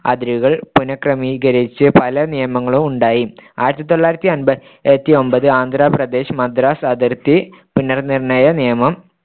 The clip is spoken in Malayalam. അതിരുകൾ പുന ക്രമീകരിച്ച് പല നിയമങ്ങളും ഉണ്ടായി ആന്ധ്രപ്രദേശ് മദ്രാസ് അതിർത്തി പുനർനിർ‌ണ്ണയ നിയമം